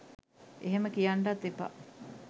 එහෙම කියන්නටත් එපා